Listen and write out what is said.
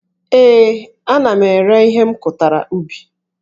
Ee, ana m ere ihe m kụtara ubi